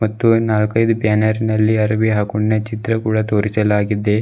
ಮತ್ತು ನಾಲ್ಕೈದು ಬ್ಯಾನರ್ ನಲ್ಲಿ ಅರವಿ ಹಾಕೋಂಡ್ನ ಚಿತ್ರ ಕೂಡ ತೋರಿಸಲಾಗಿದೆ.